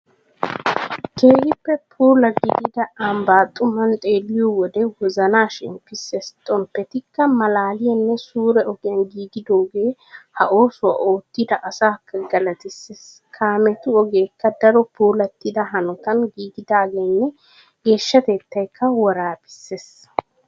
Keehippe puula gidida Ambbaa xuman xeelliyo wode wozana shemppissees. Xomppetikka malaaliyanne suure ogiyan giigidoogee ha oosuwa oottida asaakka galatissees. Kaametu ogeekka daro puulattida hanotan giigidageenne geeshshatettaykka woraabissees.